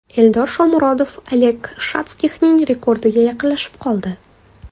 Eldor Shomurodov Oleg Shatskixning rekordiga yaqinlashib oldi.